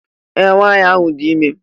Ee! Nwaanyị ahụ dị ime.